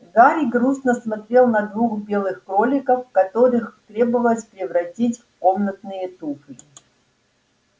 гарри грустно смотрел на двух белых кроликов которых требовалось превратить в комнатные туфли